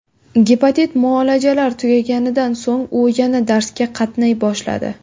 Gepatit muolajalari tugaganidan so‘ng, u yana darsga qatnay boshladi.